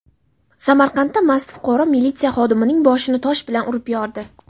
Samarqandda mast fuqaro militsiya xodimining boshini tosh bilan urib yordi.